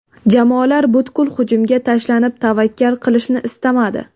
Jamoalar butkul hujumga tashlanib, tavakkal qilishni istamadi.